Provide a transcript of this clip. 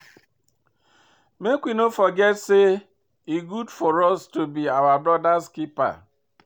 Make we no dey forget say e good for us to be our brother's keeper